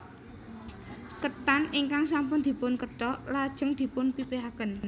Ketan ingkang sampun dipun kethok lajeng dipun pipihaken